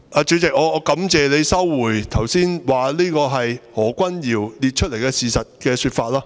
主席，我感謝你收回剛才所說這是何君堯議員列出來的事實的說法。